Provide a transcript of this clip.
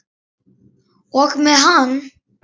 Og með hann.